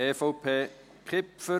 EVP, Kipfer: